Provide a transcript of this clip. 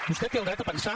vostè té el dret a pensar